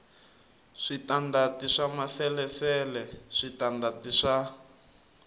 switandati swa maasesele switandati swa